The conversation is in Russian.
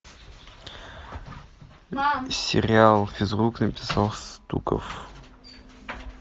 сериал физрук написал стуков